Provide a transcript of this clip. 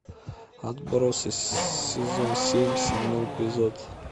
отбросы сезон семь седьмой эпизод